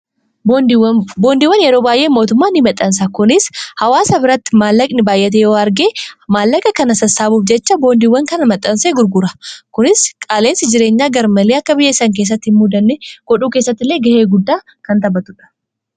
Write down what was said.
Boondiiwan yeroo baay'ee mootummaan maxansa kunis hawaasa biratti maallaqni baayyatee yoo argee maallaqa kana sassaabuuf jecha boondiiwwan kana mexxanse gurgura kunis qaaleensi jireenyaa gar malii akka biyyeessan keessatti hin muudanne godhuu keessattillee ga'ee guddaa kan taphatudha.